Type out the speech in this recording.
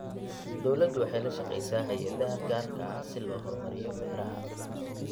Dawladdu waxay la shaqaysaa hay'adaha gaarka ah si loo horumariyo beeraha.